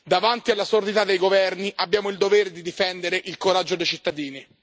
Davanti alla sordità dei governi abbiamo il dovere di difendere il coraggio dei cittadini.